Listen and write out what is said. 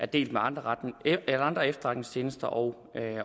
delt med andre andre efterretningstjenester og